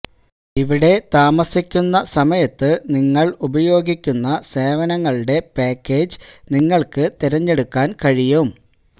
ഇവിടെ താമസിക്കുന്ന സമയത്ത് നിങ്ങൾ ഉപയോഗിക്കുന്ന സേവനങ്ങളുടെ പാക്കേജ് നിങ്ങൾക്ക് തിരഞ്ഞെടുക്കാൻ കഴിയും